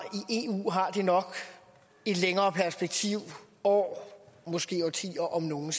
det nok et længere perspektiv år måske årtier om nogen